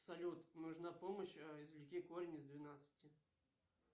салют нужна помощь извлеки корень из двенадцати